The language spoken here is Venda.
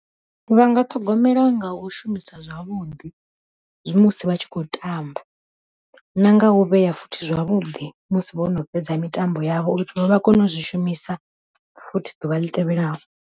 Vha nga ṱhogomela nga u shumisa zwavhuḓi, zwi musi vha tshi khou tamba. Na nga u vhea futhi zwavhuḓi, musi vho no fhedza mitambo yavho uri vha kone u zwi shumisa futhi ḓuvha ḽi tevhelaho.